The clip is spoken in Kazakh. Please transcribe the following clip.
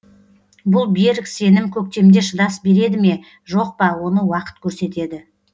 бұл берік сенім көктемде шыдас береді ме жоқ па оны уақыт көрсетеді